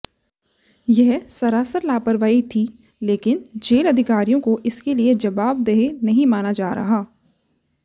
यह सरासर लापरवाही थी लेकिन जेेल अधिकारियों को इसके लिए जबावदेह नहीं माना जा रहा